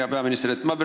Hea peaminister!